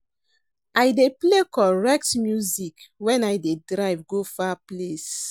I dey play correct music wen I dey drive go far place.